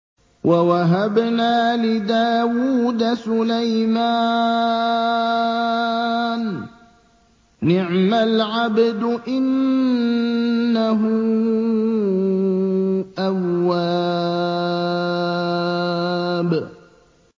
وَوَهَبْنَا لِدَاوُودَ سُلَيْمَانَ ۚ نِعْمَ الْعَبْدُ ۖ إِنَّهُ أَوَّابٌ